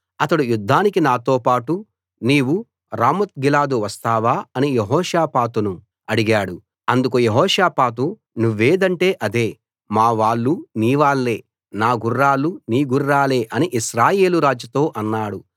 అతడు యుద్ధానికి నాతో పాటు నీవు రామోత్గిలాదు వస్తావా అని యెహోషాపాతును అడిగాడు అందుకు యెహోషాపాతు నువ్వేదంటే అదే మా వాళ్ళు నీవాళ్ళే నా గుర్రాలు నీ గుర్రాలే అని ఇశ్రాయేలు రాజుతో అన్నాడు